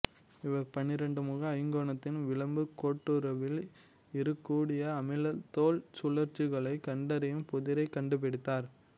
இவர் பன்னிரண்டுமுக ஐங்கோணகத்தின் விளிம்புக் கோட்டுருவில் இருக்கக்கூடிய அமில்தோன் சுழற்சிகளைக் கண்டறியும் புதிரைக் கண்டுபிடித்தவர்